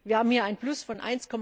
Wir haben hier ein Plus von